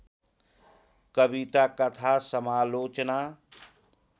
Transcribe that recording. कविता कथा समालोचना